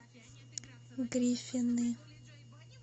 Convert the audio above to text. гриффины